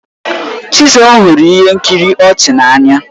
Chisom hụrụ ihe nkiri ọchị ọchị n'anya.